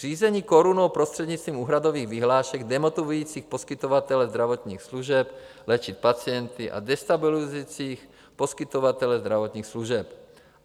Řízení korunou prostřednictvím úhradových vyhlášek demotivujících poskytovatele zdravotních služeb léčit pacienty a destabilizujících poskytovatele zdravotních služeb.